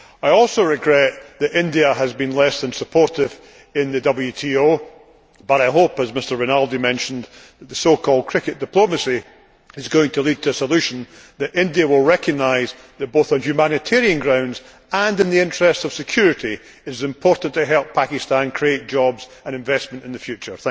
I also regret that India has been less than supportive in the WTO but I hope, as Mr Rinaldi mentioned, that the so called cricket diplomacy is going to lead to a solution and that India will recognise that, both on humanitarian grounds and in the interests of security, it is important to help Pakistan create jobs and investment in the future.